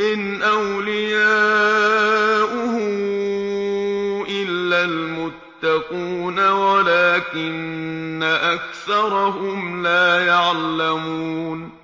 إِنْ أَوْلِيَاؤُهُ إِلَّا الْمُتَّقُونَ وَلَٰكِنَّ أَكْثَرَهُمْ لَا يَعْلَمُونَ